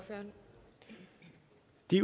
de